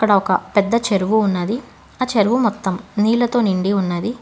ఒక పెద్ద చెరువు ఉన్నది ఆ చెరువు మొత్తం నీళ్లతో నిండి ఉన్నది.